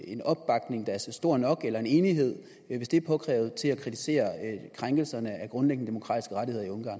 en opbakning der er stor nok eller en enighed hvis det er påkrævet til at kritisere krænkelserne af grundlæggende demokratiske rettigheder i ungarn